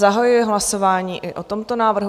Zahajuji hlasování i o tomto návrhu.